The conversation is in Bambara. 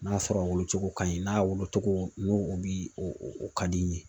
N'a sɔrɔ a wolo cogo ka ɲi n'a wolocogo n'o o bi o o ka di n ye